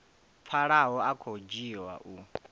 pfalaho a khou dzhiwa u